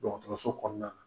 Dɔgɔtɔrɔso kɔnɔna na.